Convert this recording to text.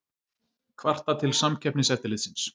Kvarta til Samkeppniseftirlitsins